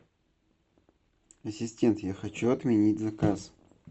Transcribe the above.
ассистент я хочу отменить заказ